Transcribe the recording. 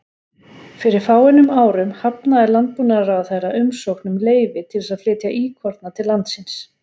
Fyrir fáeinum árum hafnaði landbúnaðarráðherra umsókn um leyfi til að flytja íkorna til landsins.